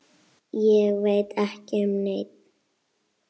Ég veit ekki um neinn.